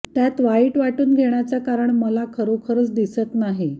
त्यात वाईट वाटून घेण्याचं कारण मला खरोखरच दिसत नाही